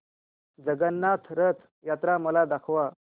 जगन्नाथ रथ यात्रा मला दाखवा